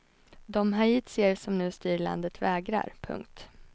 De haitier som nu styr landet vägrar. punkt